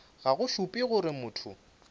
ga go šupe gore motho